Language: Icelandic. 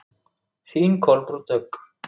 Þín Kolbrún Dögg.